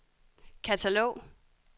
katalog